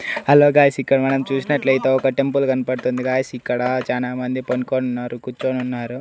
Hello guys ఇక్కడ మనం చూసినట్లైతే ఒక టెంపుల్ కన్పడ్తుంది గాయ్స్ ఇక్కడ చానా మంది పనుకోన్నారు కుచ్చోనున్నారు.